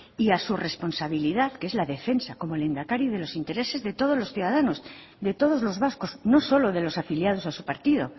y a su responsabilidad que es la defensa como lehendakari de los intereses de todos los ciudadanos de todos los vascos no solo de los afiliados a su partido